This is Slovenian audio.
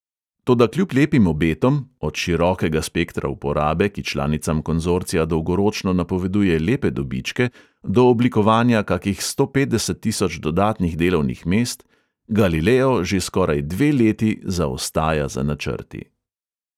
Toda kljub lepim obetom – od širokega spektra uporabe, ki članicam konzorcija dolgoročno napoveduje lepe dobičke, do oblikovanja kakih sto petdeset tisoč dodatnih delovnih mest – galileo že skoraj dve leti zaostaja za načrti.